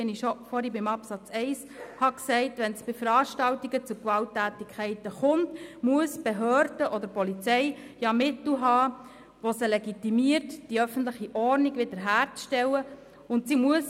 Wie ich schon vorhin zum Absatz 1 gesagt habe, müssen Behörden und Polizei Mittel sowie eine entsprechende Legitimation haben, um die öffentliche Ordnung wiederherzustellen, wenn es bei Veranstaltungen zu Gewalttätigkeiten kommt.